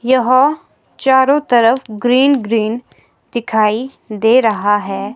यहां चारों तरफ ग्रीन ग्रीन दिखाई दे रहा है।